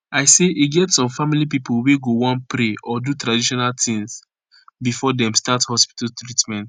i say e get some family pipo wey go want pray or do traditional tins before dem start hospital treatment